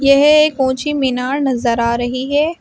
यह एक ऊंची मीनार नजर आ रही है।